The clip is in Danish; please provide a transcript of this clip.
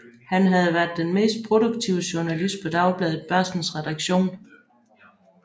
Han havde været den mest produktive journalist på Dagbladet Børsens redaktion